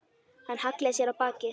Hann hallaði sér á bakið.